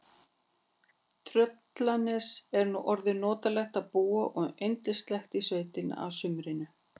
Í Tröllanesi er nú orðið notalegt að búa og yndislegt í sveitinni að sumrinu.